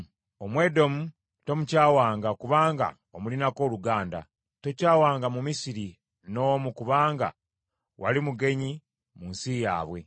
“Omwedomu tomukyawanga kubanga omulinako oluganda. Tokyawanga Mumisiri n’omu kubanga wali mugenyi mu nsi yaabwe.